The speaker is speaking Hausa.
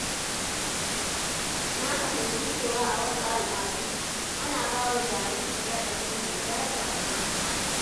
Na fahimci cewa a wasu al’adu, ana bawa jariri laƙabi mai daraja da ma’ana.